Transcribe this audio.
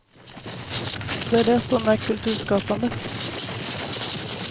Det är det som är kulturskapande.